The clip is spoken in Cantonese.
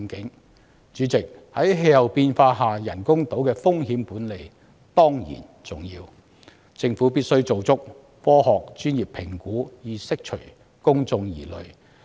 代理主席，在氣候變化下，人工島的風險管理當然重要，政府必須做足科學專業評估，以釋除公眾疑慮。